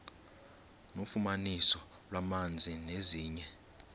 nofumaniso lwamanzi nezinye